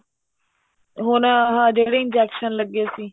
ਹੁਣ ਆਹ ਜਿਹੜੇ injection ਲੱਗੇ ਸੀ